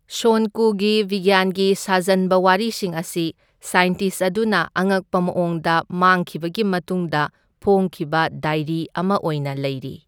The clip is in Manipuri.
ꯁꯣꯟ ꯀꯨꯒꯤ ꯕꯤꯒ꯭ꯌꯥꯟꯒꯤ ꯁꯥꯖꯟꯕ ꯋꯥꯔꯤꯁꯤꯡ ꯑꯁꯤ ꯁꯥꯏꯟꯇꯤꯁ ꯑꯗꯨꯅ ꯑꯉꯛꯄ ꯃꯑꯣꯡꯗ ꯃꯥꯡꯈꯤꯕꯒꯤ ꯃꯇꯨꯡꯗ ꯐꯣꯛꯈꯤꯕ ꯗꯥꯏꯔꯤ ꯑꯃ ꯑꯣꯏꯅ ꯂꯩꯔꯤ꯫